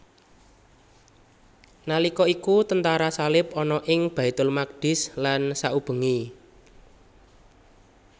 Nalika iku tentara salib ana ing Baitul Maqdis lan saubengé